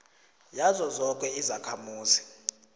yazo zoke izakhamuzi